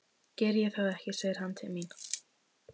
Geri ég það ekki, segir hann til mín.